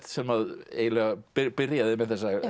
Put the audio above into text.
sem eiginlega byrjaði með þessa